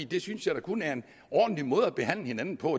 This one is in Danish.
det synes jeg da kun er en ordentlig måde at behandle hinanden på